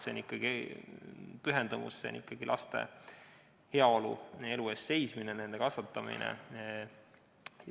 See on ikkagi pühendumus, laste heaolu ja elu eest seismine, nende kasvatamine.